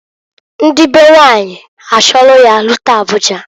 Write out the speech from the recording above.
Ndi be nwanyị achọlụ ya rute Abuja.